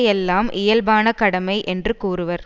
எல்லாம் இயல்பான கடமை என்று கூறுவர்